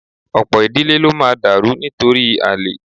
Ọ̀pọ̀ ìdílé ló máa dàrú nítorí àlè